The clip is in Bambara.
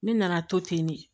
Ne nana to ten de